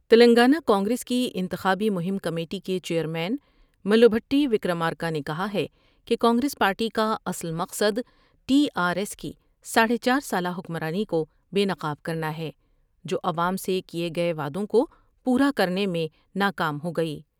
تلنگانہ کانگریسکی انتخابی مہم کمیٹی کے چیئر مین مل بھٹی وکرامارکا نے کہا ہے کہ کانگریس پارٹی کا اصل مقصد ٹی آرایس کی ساڑھے چار سالہ حکمرانی کو بے نقاب کرنا ہے جو عوام سے کئے گئے وعدوں کو پورا کر نے میں نا کام ہوگئی ۔